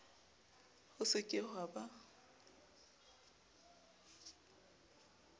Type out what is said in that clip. ho se ke ha ba